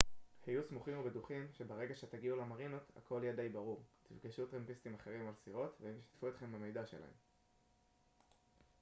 היו סמוכים ובטוחים שברגע שתגיעו למרינות הכל יהיה די ברור תפגשו טרמפיסטים אחרים על סירות והם ישתפו אתכם במידע שלהם